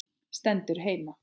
Stendur heima!